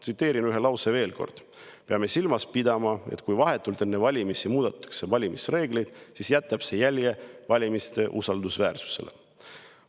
Tsiteerin ühte lauset veel kord: "Peame silmas pidama, et kui vahetult enne valimisi muudetakse valimisreegleid, siis jätab see jälje valimiste usaldusväärsusele.